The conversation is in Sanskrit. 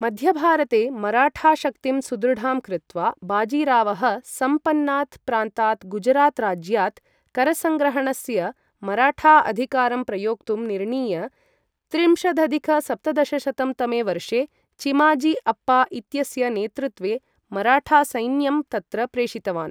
मध्यभारते मराठा शक्तिं सुदृढां कृत्वा, बाजीरावः सम्पन्नात् प्रान्तात् गुजरात् राज्यात् करसङ्ग्रहणस्य मराठा अधिकारं प्रयोक्तुं निर्णीय, त्रिंशदधिक सप्तदशशतं तमे वर्षे चिमाजी अप्पा इत्यस्य नेतृत्वे मराठासैन्यं तत्र प्रेषितवान्।